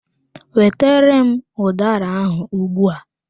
Wetara m udara ahụ ugbua!